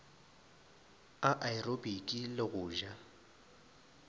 a aerobiki le go ja